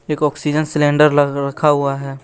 एक oxygen cylinder ल रखा हुआ है।